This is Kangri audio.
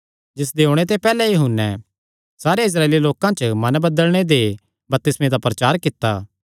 जिसदे ओणे ते पैहल्ले यूहन्ने सारेयां इस्राएली लोकां च मन बदलणे दे बपतिस्में दा प्रचार कित्ता